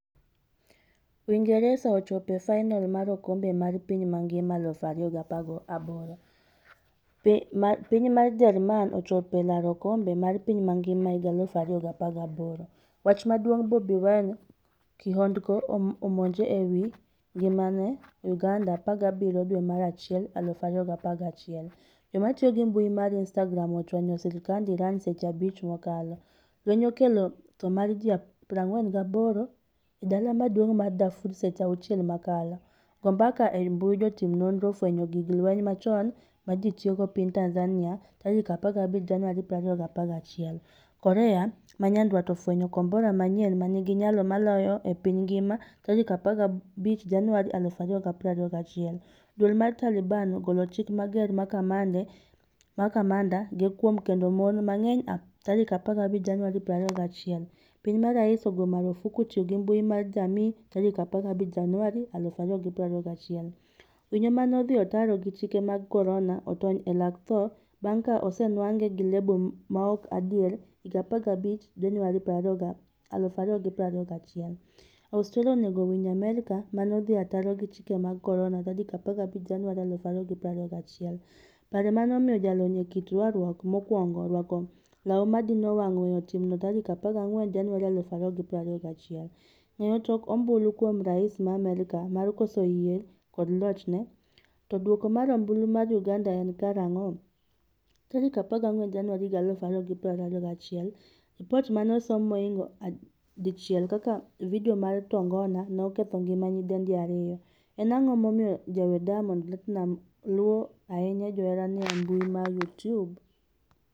Uingeresa ochopo e fainol mar okombe mar piny mangima 2018. Piny mar Jerman ochopo e laro okombe mar piny mangima 2018..Wach maduong' Bobi Wine kihondko omonje ewi ngimane Uganda 17 dwe mar achiel 2021 . Jomatiyo gi mbui mar instagram ochwanyo sirkand Iran seche 5 mokalo. Lweny okelo tho mar ji 48 e dala maduong' mar Darfur seche 6 mokalo go mbaka e mbui jotim nonro ofwenyo gig lweny machon mane ji tiyogo piny Tanzania 15 Januari 2021. Korea Manyandwat ofwenyo kombora manyien manigi nyalo moloyo e piny ngima' 15 Januari 2021 Duol mar Taliban ogolo chik mager ne kamanda ge kuom kendo mon mang'eny 15 Januari 2021 Piny ma rais ogo marufuku tiyo gi mbui mar jamii 15 Januari 2021 Winyo mane odhi ataro gi chike mag korona otony e lak tho bang' ka osenwang'e gi lebo maok adier 15 Januari 2021 Australia onego winj Amerka mane odhi ataro gi chike mag korona' 15 Januari 2021 Paro mane omiyo jalony e kit rwakruok mokwongo rwako law madino wang' weyo timno tarik 14 januari 2021. Ng'eyo tok ombulu kuom rais ma Amerka mar koso yie kod lochne? To duoko mar ombulu mar uganda en karang'o?14 Januari 2021Lipot mane osom mohingo 1 kaka video mar tongona ne oketho ngima nyidendi 2. en ang'o momiyo jawer Diamond Platinumz luo ahinya joherane embui ma Youtube?